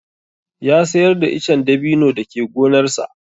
Ya sayar da icen dabino da ke gonarsa.